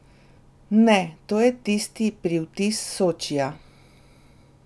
Ne, to je tisti pri vtis Sočija.